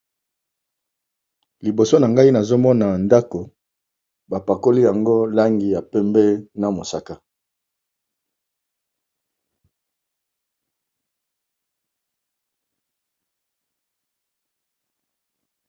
liboso na ngai nazomona ndako bapakoli yango langi ya pembe na mosaka